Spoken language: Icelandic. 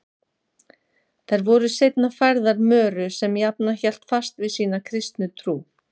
Þær voru seinna færðar Möru sem jafnan hélt fast við sína kristnu trú.